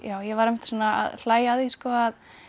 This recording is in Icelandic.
ég var einmitt að hlæja að því að